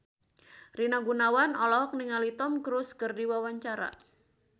Rina Gunawan olohok ningali Tom Cruise keur diwawancara